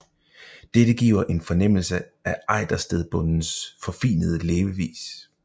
Dette giver en fornemmelse af Ejderstedbondens forfinede levevis